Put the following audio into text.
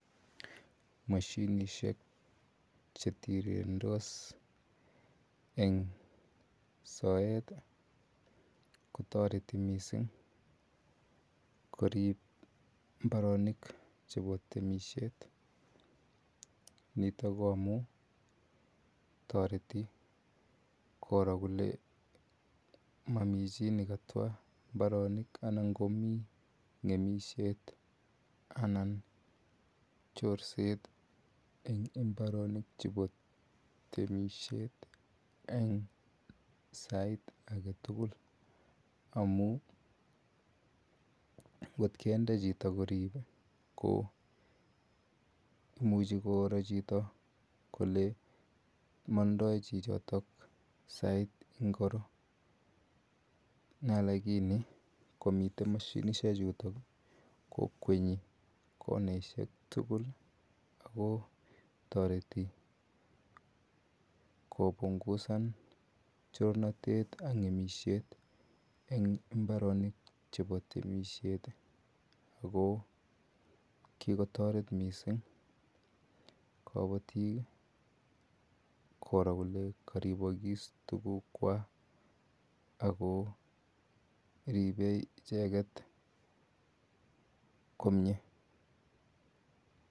Mashinisiek chetirirendos en soet ih , kotareti missing korib mbarenik chebo temisiet. Nito toreti koro kole mamichi nekatwa mbarenik anan Mami ng'emisiet anan chorset en mbarenik chebo temisiet en sait agetugul. Amun ngot kinde chito korib ih ko imuche koro chito kole mandai chichoto sait ngiro. lakini komiten mashinisiek chuton ih kokwenyi konaisiek tugul ago tureti kopungusan chorset en mbarenik chebo temisiet ih. Ako kikotaret missing kabatik ih koro kole karibakis tuguk kwak ako ribe icheket komie.